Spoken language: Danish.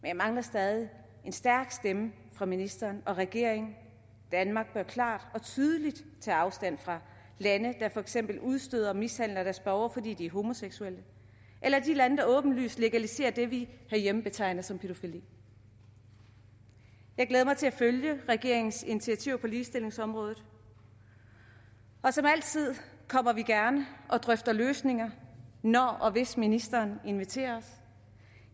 jeg mangler stadig en stærk stemme fra ministeren og regeringen danmark bør klart og tydeligt tage afstand fra lande der for eksempel udstøder og mishandler deres borgere fordi de er homoseksuelle eller de lande der åbenlyst legaliserer det vi herhjemme betegner som pædofili jeg glæder mig til at følge regeringens initiativer på ligestillingsområdet og som altid kommer vi gerne og drøfter løsninger når og hvis ministeren inviterer os